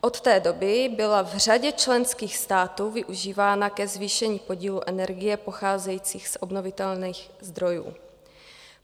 Od té doby byla v řadě členských států využívána ke zvýšení podílu energie pocházející z obnovitelných zdrojů.